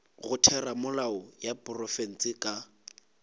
go theramelao ya profense ka